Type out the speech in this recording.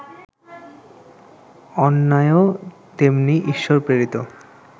অন্যায়ও তেমনি ঈশ্বরপ্রেরিত